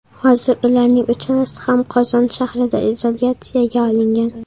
Hozir ularning uchalasi ham Qozon shahrida izolyatsiyaga olingan.